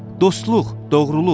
Dostluq, doğruluq.